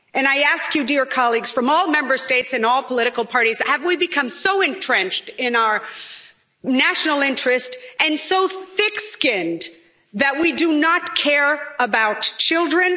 I ask you, dear colleagues, from all Member States and all political parties have we become so entrenched in our national interest and so thick skinned that we do not care about children?